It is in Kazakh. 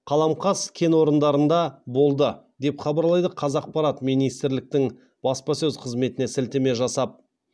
қаламқас кен орындарында болды деп хабарлайды қазақпарат министрліктің баспасөз қызметіне сілтеме жасап